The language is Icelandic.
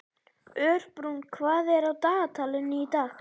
Örbrún, hvað er á dagatalinu í dag?